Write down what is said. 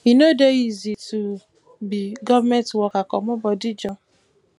e no dey easy to um be government worker comot bodi joor